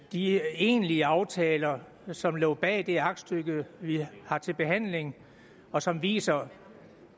de egentlige aftaler som lå bag det aktstykke vi har til behandling og som viser